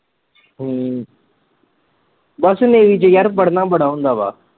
ਹਮ ਬਸ navy ਚ ਯਾਰ ਪੜ੍ਹਨਾ ਬੜਾ ਹੁੰਦਾ ਵਾ।